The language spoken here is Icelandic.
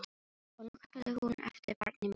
Og nú kallaði hún eftir barni mínu.